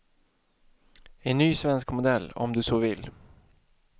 En ny svensk modell, om du så vill.